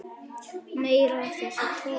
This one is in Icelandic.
Meira af þessum toga.